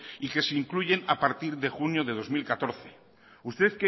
y que se incluyen a partir de junio de dos mil catorce usted